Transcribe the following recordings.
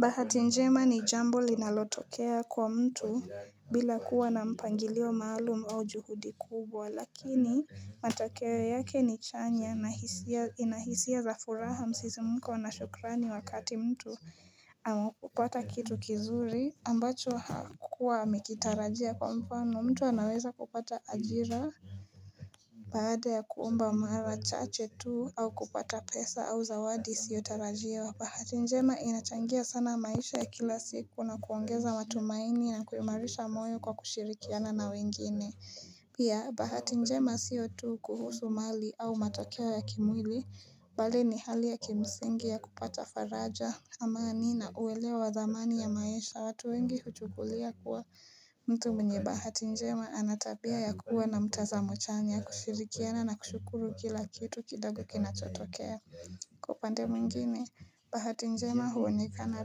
Bahati njema ni jambo linalotokea kwa mtu bila kuwa na mpangilio maalum au juhudi kubwa lakini matokeo yake ni chanya nahisia ina hisia za furaha msisimko na shukrani wakati mtu ameupata kitu kizuri ambacho hakuwa amekitarajia kwa mfano mtu anaweza kupata ajira Baada ya kuomba mara chache tu au kupata pesa au zawadi isiyotarajiwa. Bahati njema inachangia sana maisha ya kila siku na kuongeza matumaini na kuimarisha moyo kwa kushirikiana na wengine Pia bahati njema siyo tu kuhusu mali au matokeo ya kimwili, bali ni hali ya kimsingi ya kupata faraja, amani na uelewa wa dhamani ya maisha. Watu wengi huchukulia kuwa mtu mwenye bahati njema ana tabia ya kuwa na mtazamo chanya, kushirikiana na kushukuru kila kitu kidogo kinachotokea Kwa upande mwingine, bahati njema huonekana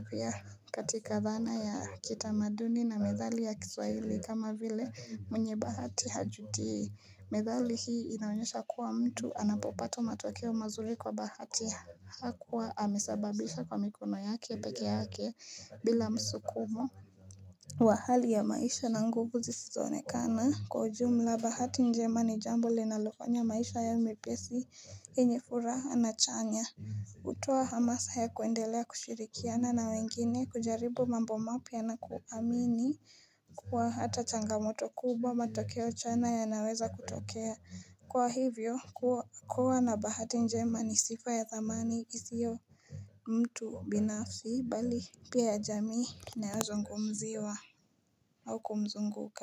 pia katika dhana ya kitamaduni na methali ya kiswahili kama vile mwenye bahati hajutii. Methali hii inaonyesha kuwa mtu anapopata matokeo mazuri kwa bahati hakuwa amesababisha kwa mikono yake peke yake bila msukumo. Wa hali ya maisha na nguvu zisizoonekana. Kwa ujumla bahati njema ni jambo linalofanya maisha yawe mepesi yenye furaha na chanya. Hutoa hamasa ya kuendelea kushirikiana na wengine, kujaribu mambo mapya na kuamini kuwa hata changamoto kubwa matokeo chanya yanaweza kutokea. Kwa hivyo kuwa na bahati njema ni sifa ya thamani isio mtu binafsi bali pia ya jamii inayozungumziwa au kumzunguka.